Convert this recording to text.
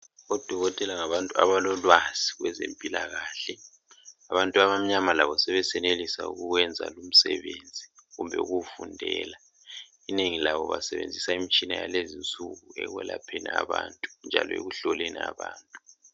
Odokotela ngabantu abalolwazi lwezempilakahle. Abantu abamnyama labo sebesenelisa ukuwenza lomsebenzi kumbe ukuwufundela. Inengi labo basebenzisa imitshina yalezi insuku ekwelapheni abantu njalo ekuhloleni abantu.